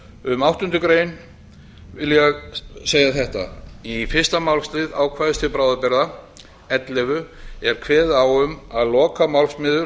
um áttundu grein vil ég segja þetta í fyrsta málslið ákvæðis til bráðabirgða ellefu er kveðið á um að lokamálsliður